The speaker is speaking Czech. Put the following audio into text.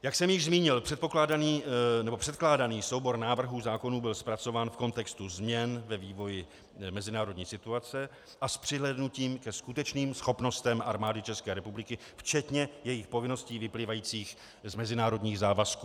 Jak jsem již zmínil, předkládaný soubor návrhů zákonů byl zpracován v kontextu změn ve vývoji mezinárodní situace a s přihlédnutím ke skutečným schopnostem Armády České republiky včetně jejích povinností vyplývajících z mezinárodních závazků.